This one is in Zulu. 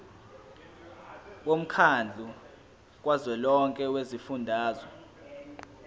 womkhandlu kazwelonke wezifundazwe